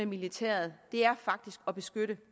militæret ind er faktisk at beskytte